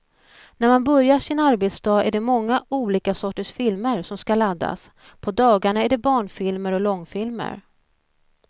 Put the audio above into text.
När man börjar sin arbetsdag är det många olika sorters filmer som ska laddas, på dagarna är det barnfilmer och långfilmer.